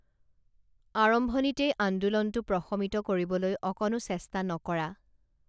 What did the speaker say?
আৰম্ভণিতেই আন্দোলনটো প্ৰশমিত কৰিবলৈ অকণো চেষ্টা নকৰা